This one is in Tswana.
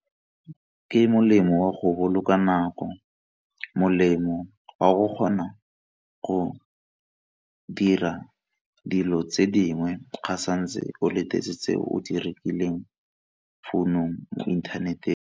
Ke molemo wa go boloka nako, molemo wa go kgona go dira dilo tse dingwe ga santse o letetse o di rekileng founong, internet-eng.